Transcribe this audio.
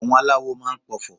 àwọn aláwò ma n p'ọfọ